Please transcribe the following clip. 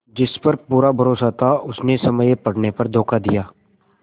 जिस पर पूरा भरोसा था उसने समय पड़ने पर धोखा दिया